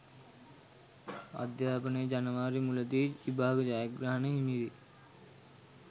අධ්‍යාපනය ජනවාරි මුලදී විභාග ජයග්‍රහණ හිමිවෙයි